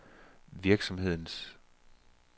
virksomhedens